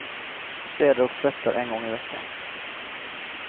Städar och tvättar en gång i veckan.